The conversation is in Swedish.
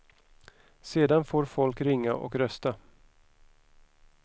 Sedan får folk ringa och rösta.